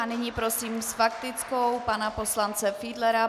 A nyní prosím s faktickou pana poslance Fiedlera.